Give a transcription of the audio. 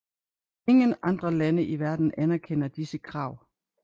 Ingen andre lande i verden anerkender disse krav